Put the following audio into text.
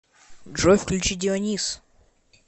джой включи дионис